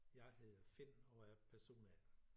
Jeg hedder Finn og er person A